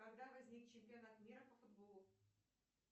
когда возник чемпионат мира по футболу